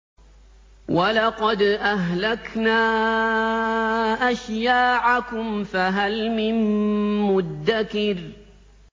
وَلَقَدْ أَهْلَكْنَا أَشْيَاعَكُمْ فَهَلْ مِن مُّدَّكِرٍ